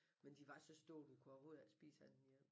Men de var så store du kunne overhovedet ikke spise andet end en